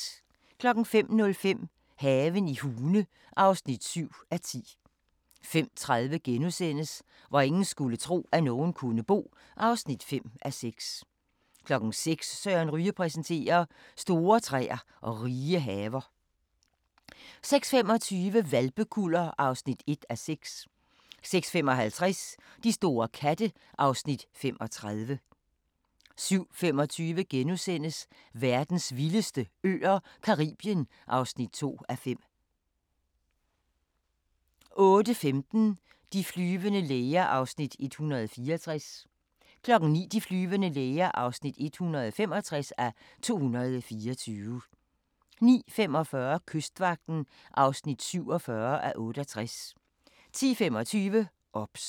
05:05: Haven i Hune (7:10) 05:30: Hvor ingen skulle tro, at nogen kunne bo (5:6)* 06:00: Søren Ryge præsenterer: Store træer og rige haver 06:25: Hvalpekuller (1:6) 06:55: De store katte (Afs. 35) 07:25: Verdens vildeste øer - Caribien (2:5)* 08:15: De flyvende læger (164:224) 09:00: De flyvende læger (165:224) 09:45: Kystvagten (47:68) 10:25: OBS